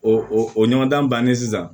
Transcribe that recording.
O o o ɲɔgɔndan bannen sisan